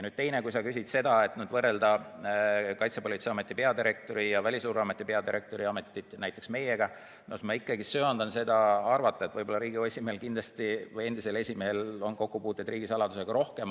Kui sa küsid seda, kas peaks võrdlema Kaitsepolitseiameti peadirektori ja Välisluureameti peadirektori ametit näiteks meie ametiga, siis ma ikkagi söandan arvata, et Riigikogu endisel esimehel oli kindlasti kokkupuuteid riigisaladusega rohkem.